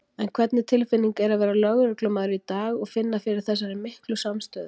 En hvernig tilfinning er að vera lögreglumaður í dag og finna fyrir þessari miklu samstöðu?